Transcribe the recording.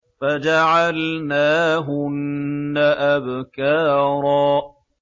فَجَعَلْنَاهُنَّ أَبْكَارًا